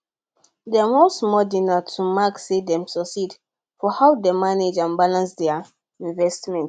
dem hold small dinner to mark say dem succeed for how dem manage and balance their investment